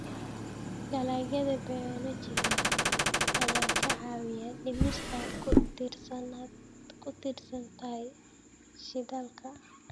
Dalagyada bioenergy-ga ayaa ka caawiya dhimista ku tiirsanaanta shidaalka.